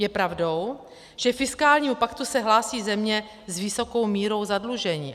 Je pravdou, že k fiskálnímu paktu se hlásí země s vysokou mírou zadlužení.